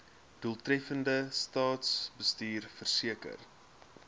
doeltreffende staatsbestuur verseker